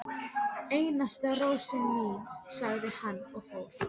Einasta rósin mín, sagði hann og fór.